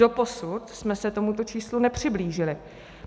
Doposud jsme se tomuto číslu nepřiblížili.